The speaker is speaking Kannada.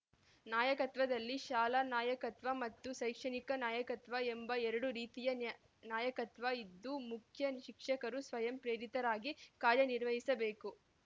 ನಾಯಕತ್ವದಲ್ಲಿ ಶಾಲಾ ನಾಯಕತ್ವ ಮತ್ತು ಶೈಕ್ಷಣಿಕ ನಾಯಕತ್ವ ಎಂಬ ಎರಡು ರೀತಿಯ ನ್ಯಾ ನಾಯಕತ್ವ ಇದ್ದು ಮುಖ್ಯಶಿಕ್ಷಕರು ಸ್ವಯಂ ಪ್ರೇರಿತರಾಗಿ ಕಾರ್ಯನಿರ್ವಹಿಸಬೇಕು